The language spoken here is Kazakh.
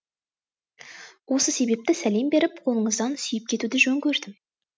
осы себепті салем беріп қолыңыздан сүйіп кетуді жөн көрдім